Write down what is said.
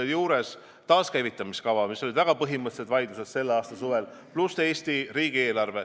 Näiteks taaskäivitamiskava üle olid selle aasta suvel väga põhimõttelised vaidlused, pluss Eesti riigieelarve.